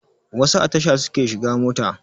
Wasu a tasha suke shiga mota